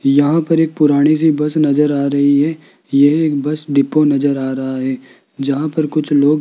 यहां पर एक पुरानी सी बस नजर आ रही है यह एक बस डिपो नजर आ रहा है जहां पर कुछ लोग --